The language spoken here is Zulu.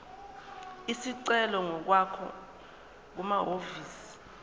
isicelo ngokwakho kumahhovisi